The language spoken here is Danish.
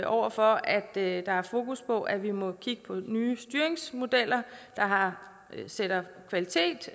over for at der er fokus på at vi må kigge på nye styringsmodeller der sætter kvalitet